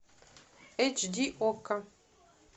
эйч ди окко